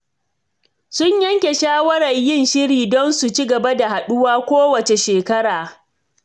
Sun yanke shawarar yin shiri don su ci gaba da haɗuwa kowace shekara.